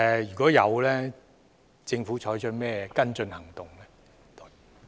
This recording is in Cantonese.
如有，政府會採取甚麼跟進行動？